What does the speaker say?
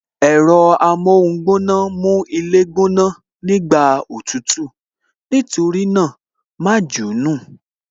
Ẹ̀rọ amóhun gbóná mú ilé gbóná, nígbà òtútù, nítorí náà, ma jù ú nù